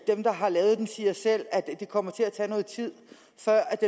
der har lavet den siger selv at det kommer til at tage noget tid før